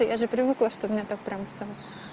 я же привыкла что меня так прямо всё